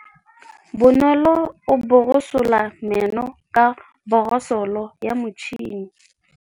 Bonolô o borosola meno ka borosolo ya motšhine.